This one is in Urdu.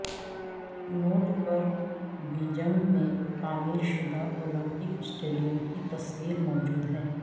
نوٹ پر بیجنگ میں تعمیر شدہ اولمپک سٹیڈیم کی تصویر موجود ہے